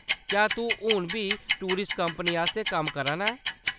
क्या तूं हुन बी टूरिस्ट कंपनी आस्तै कम्म करा ना ऐं ?